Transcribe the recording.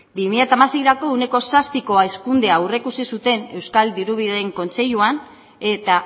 bi mila hamaseirako ehuneko zazpiko hazkundea aurreikusi zuten euskal dirubideen kontseiluan eta